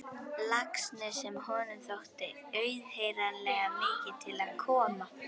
Laxness sem honum þótti auðheyranlega mikið til koma.